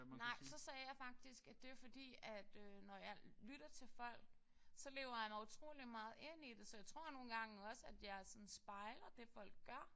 Nej så sagde jeg faktisk at det var fordi at når jeg lytter til folk så lever jeg mig utrolig meget ind i det. Så jeg tror nogle gange også at jeg sådan spejler det folk gør